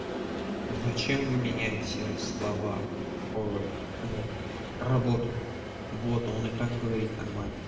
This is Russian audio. зачем вы меняете слова ой блять работу боту он и так говорит нормально